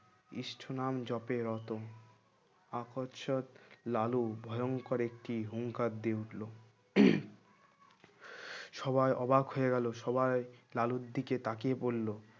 ইষ্ঠ নাম জপে রত আকর্ষক লালু ভয়ংকর একটি হুঙ্কার দিয়ে উঠলো সবাই অবাক হয়ে গেলো সবাই লালুর দিকে তাকিয়ে বলল